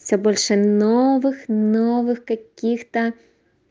всё больше новых новых каких-то